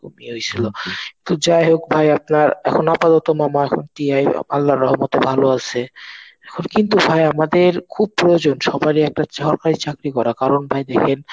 এরকম ইয়ে হইসিলো. তো যাই হোক ভাই আপনার এখন আপাতত মামা এখন TI আল্লার রহমতে ভালো আছে. এখন কিন্তু ভাই আমাদের খুব প্রয়োজন সবারই একটা সরকারি চাকরি করা কারণ ভাই দেখেন